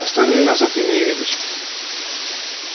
остальные назад не явились